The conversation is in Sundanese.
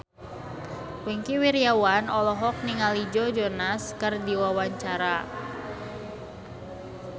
Wingky Wiryawan olohok ningali Joe Jonas keur diwawancara